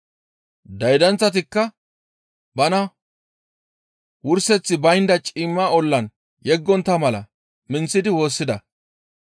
Daydanththatikka bana wurseththi baynda ciimma ollan yeggontta mala minththidi woossida.